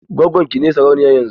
Gwaggon ki ce sarauniya yanzun?